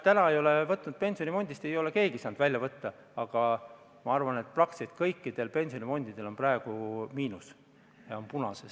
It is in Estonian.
Näed, praegu ei ole pensionifondist keegi saanud raha välja võtta, aga ma arvan, et praktiliselt kõik pensionifondid on praegu miinuses, on punases.